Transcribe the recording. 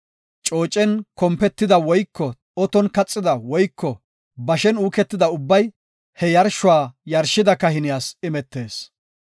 Coocen kompetida woyko oton kaxida woyko bashen uuketida ubbay he yarshuwa yarshida kahiniyas imetees.